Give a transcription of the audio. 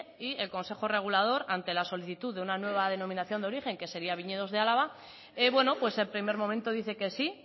y el consejo regulador ante la solicitud de una nueva denominación de origen que sería viñedos de álava bueno pues en primer momento dice que sí